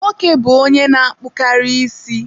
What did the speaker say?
Nwoke bụ onye na-akpụkarị isi.